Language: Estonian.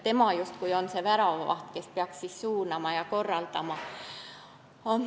Tema on justkui see väravavaht, kes peaks kõike suunama ja korraldama.